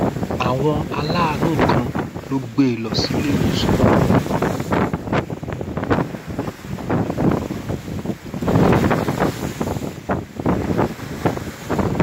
àwọn aláàánú kan ló gbé e lọ síléèwòsàn